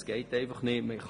Es geht einfach nicht;